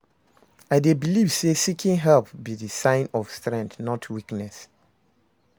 i dey believe say seeking help be di sign of strength, not weakness.